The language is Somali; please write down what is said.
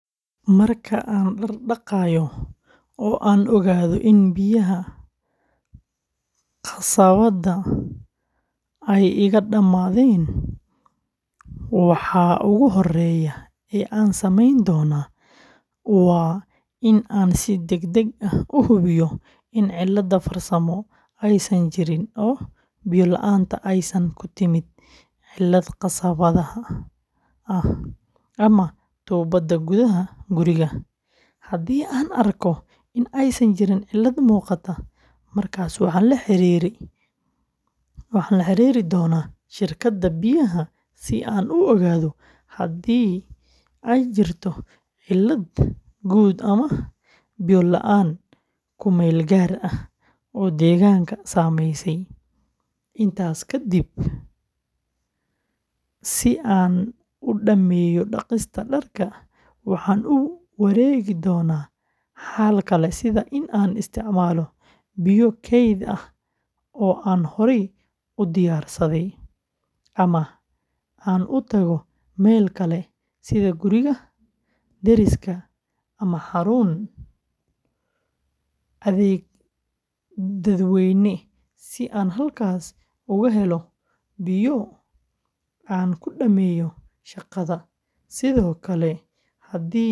Marka aan dharka dhaqayo oo aan ogaado in biyaha qasabadda ay iga dhammaadeen, waxa ugu horreeya ee aan sameyn doono waa in aan si degdeg ah u hubiyo in cilad farsamo aysan jirin oo biyo la’aanta aysan ku timid cilad qasabadda ah ama tuubada gudaha guriga; haddii aan arko in aysan jirin cilad muuqata, markaas waxaan la xiriiri doonaa shirkadda biyaha si aan u ogaado haddii ay jirto cilad guud ama biyo la’aan ku meel gaar ah oo deegaanka saameysay. Intaas kadib, si aan u dhammeeyo dhaqista dharka, waxaan u wareegi doonaa xal kale sida in aan isticmaalo biyo keyd ah oo aan horey u diyaarsaday, ama aan u tago meel kale sida guriga deriska ama xarun adeeg dadweyne si aan halkaas uga helo biyo aan ku dhammeeyo shaqada. Sidoo kale, haddii dhammaan xulashooyinkaas aysan suuragal ahayn.